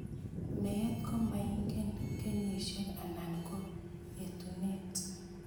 Meet komaingen kenyisiek anan ko etunet